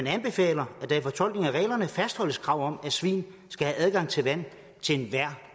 anbefaler at der i fortolkningen af reglerne fastholdes kravet om at svin skal have adgang til vand til enhver